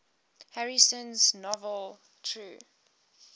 harrison's novel true